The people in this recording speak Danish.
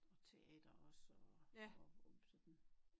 Og teater også og og sådan